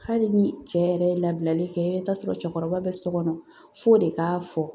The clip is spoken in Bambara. Hali ni cɛ yɛrɛ ye labilali kɛ, i bɛ taa sɔrɔ cɛkɔrɔba be so kɔnɔ f'o de k'a fɔ